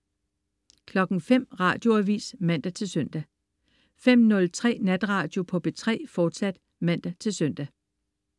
05.00 Radioavis (man-søn) 05.03 Natradio på P3, fortsat (man-søn)